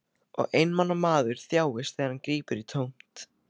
Og einmana maður þjáist þegar hann grípur í tómt.